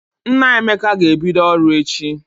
Nna Emeka ga-ebido ọrụ echi.